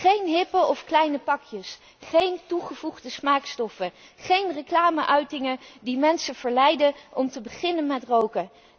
Geen hippe of kleine pakjes, geen toegevoegde smaakstoffen, geen reclame uitingen die mensen verleiden om te beginnen met roken.